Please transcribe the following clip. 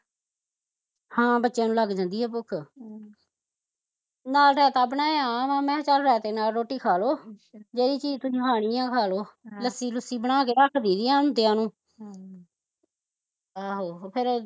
ਹਾਂ ਬੱਚਿਆ ਨੂੰ ਲੱਗ ਜਾਂਦੀ ਐ ਭੁੱਖ ਹਮ ਨਾਲ਼ ਰਾਇਤਾ ਬਣਾਇਆ ਵਾਂ ਮੈਂ ਕਿਹਾ ਚੱਲ ਰਇਤੇ ਨਾਲ਼ ਰੋਟੀ ਖਾਲੋ ਜਿਹਦੀ ਚੀਜ਼ ਤੁਸੀਂ ਖਾਣੀ ਐ ਖਾਲੋ ਆਹ ਲੱਸੀ ਲੂਸੀ ਬਣਾ ਕੇ ਰੱਖ ਦਈ ਦੀ ਏ ਆਉਂਦਿਆਂ ਨੂੰ ਹਮ ਆਹੋ ਫਿਰ